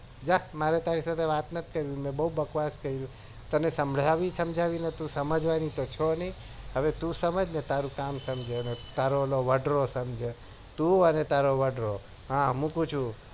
જા મારે તારી સાથે વાત નથી કરવી મેં બઉ બકવાસ કરી તને સમજાવી સમજાવી ને તું સમજવાની તો છો નઈ હવે તું સમજ ને તારું કામ સમજે તારો ઓલો વોદ્રો સમજે તું ને તારો વાંદરો હા મુકું છુ